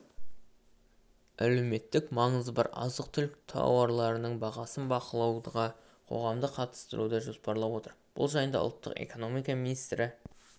әлеуметтік маңызы бар азық-түлік тауарларының бағасын бақылауға қоғамды қатыстыруды жоспарлап отыр бұл жайында ұлттық экономика министрі